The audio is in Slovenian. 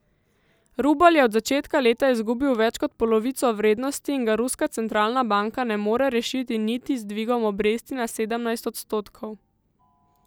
Rubelj je od začetka leta izgubil več kot polovico vrednosti in ga ruska centralna banka ne more rešiti niti z dvigom obresti na sedemnajst odstotkov.